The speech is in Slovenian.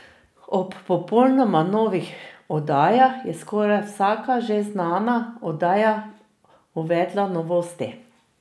Ob popolnoma novih oddajah je skoraj vsaka že znana oddaja uvedla novosti.